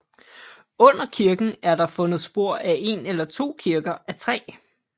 Under kirken er der fundet spor af en eller to kirker af træ